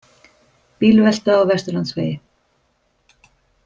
Bílvelta á Vesturlandsvegi